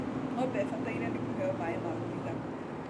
Ng'ombe ĩbataire nĩ kũheo maĩ ma kũigana.